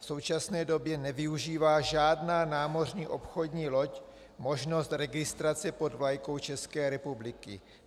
V současné době nevyužívá žádná námořní obchodní loď možnost registrace pod vlajkou České republiky.